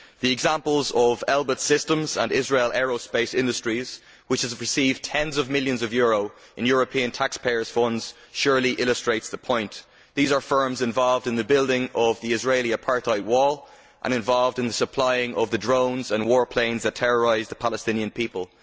The examples of Elbit Systems and Israel Aerospace Industries, which have received tens of millions of euros in European taxpayers' funds, surely illustrate the point. These are firms involved in the building of the Israeli apartheid wall and involved in supplying the drones and war planes that terrorise the Palestinian people.